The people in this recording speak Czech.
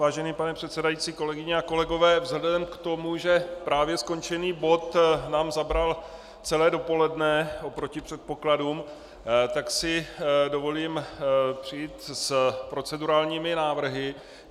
Vážený pane předsedající, kolegyně a kolegové, vzhledem k tomu, že právě skončený bod nám zabral celé dopoledne oproti předpokladům, tak si dovolím přijít s procedurálními návrhy.